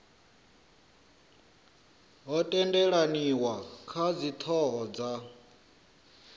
ho tendelaniwa kha dzithoho dza